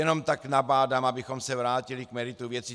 Jenom tak nabádám, abychom se vrátili k meritu věci.